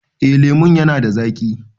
Eh lemon ya na da zaƙi